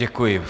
Děkuji.